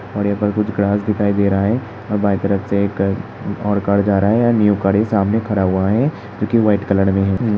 और यहाँ पर कुछ ग्रास दिखाई दे रहा है और बांयीं तरफ से एक और कार जा रहा है एण्ड न्यू गाड़ी सामने खड़ा हुआ है जोकि व्हाइट कलर में है।